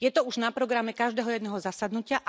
Je to už na programe každého jedného zasadnutia.